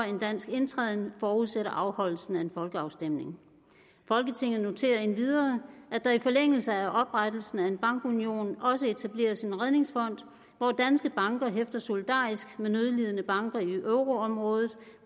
en dansk indtræden forudsætter afholdelsen af en folkeafstemning folketinget noterer endvidere at der i forlængelse af oprettelsen af en bankunion også etableres en redningsfond hvor danske banker hæfter solidarisk med nødlidende banker i euro området